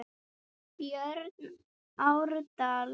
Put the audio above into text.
Björn Árdal.